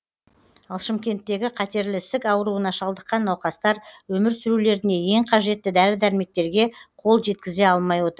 ал шымкенттегі қатерлі ісік ауруына шалдыққан науқастар өмір сүрулеріне ең қажетті дәрі дәрмектерге қол жеткізе алмай отыр